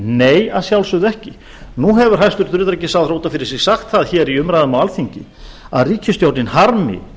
nei að sjálfsögðu ekki nú hefur hæstvirtur utanríkisráðherra út af fyrir sig sagt það í umræðum á alþingi að ríkisstjórnin harmi